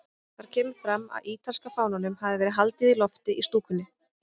Þar kemur fram að ítalska fánanum hafi verið haldið á lofti í stúkunni.